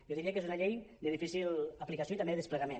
jo diria que és una llei de difícil aplicació i també desplegament